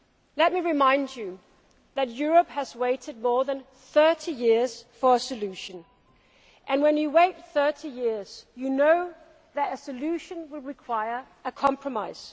Let me remind you that Europe has waited more than 30 years for a solution and when you wait for 30 years you know that a solution will require a compromise.